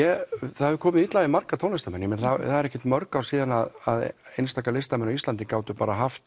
það hefur komið illa við marga tónlistarmenn það eru ekkert mörg ár síðan einstaka listamenn á Íslandi gátu bara haft